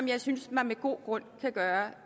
jeg synes at man med god grund kan gøre